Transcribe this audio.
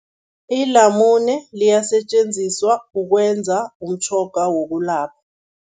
Ilamune liyasetjenziswa ukwenza umtjhoga wokulapha.